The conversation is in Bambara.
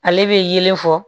Ale bɛ yelen fɔ